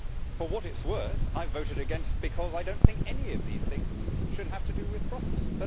For what it is worth, I voted against, because I do not think any of these things should have to do with Brussels.